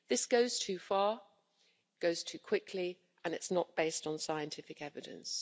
This goes too far, it goes too quickly and it's not based on scientific evidence.